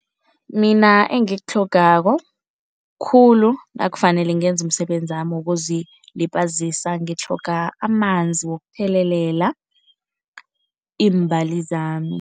Mina engikutlhogako khulu nakufanele ngenze umsebenzami wokuzilibazisa, ngitlhoga amanzi wokuthelelela iimbali zami.